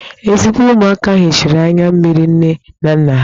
Ezigbo ụmụaka hichara anya mmiri nne na nna ha